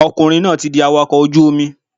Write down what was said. Ọkùnrin náà ti di awakọ̀ ojú Omi